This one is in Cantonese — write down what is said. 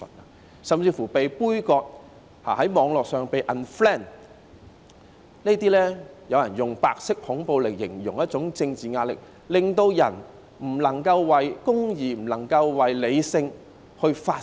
他們甚至被杯葛，在網絡上被 unfriend， 有人用白色恐怖來形容這一種政治壓力，令人不能夠為公義、為理性發聲。